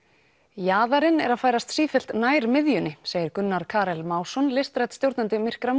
jaðarinn er að færast sífellt nær miðjunni segir Gunnar Karel Másson listrænn stjórnandi myrkra